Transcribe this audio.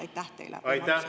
Aitäh!